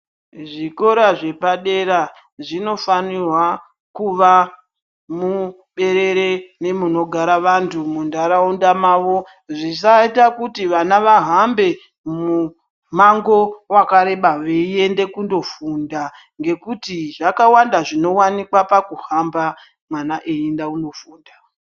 zvikora zvepadera zvinofanirwa kuvamuberere nemunogara vanthu muntharaunda mavo zvisaita kuti vana vahambe mumango wakareba veienda kundofunda ngekuti zvakawanda zvinosanganiwa nazvo pakuhamba mwana eienda kunofunda.